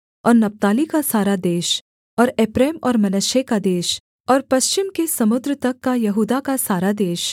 और नप्ताली का सारा देश और एप्रैम और मनश्शे का देश और पश्चिम के समुद्र तक का यहूदा का सारा देश